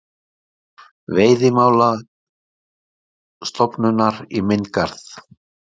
Veiðimálastofnunar í minn garð.